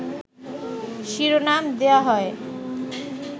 শিরোনাম দেয়া হয়